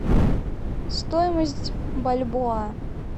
стоимость бальбоа